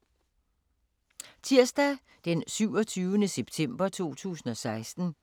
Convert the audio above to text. Tirsdag d. 27. september 2016